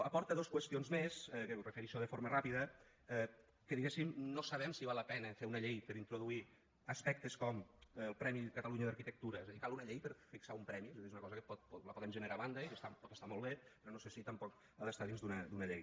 aporta dos qüestions més que m’hi refereixo de forma ràpida que diguéssim no sabem si val la pena fer una llei per introduir aspectes com el premi catalunya d’arquitectura és a dir cal una llei per fixar un premi és a dir és una cosa que la podem generar a banda i que pot estar molt bé però no sé si tampoc ha d’estar dins d’una llei